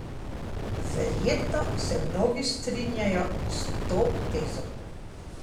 Verjetno se mnogi strinjajo s to tezo.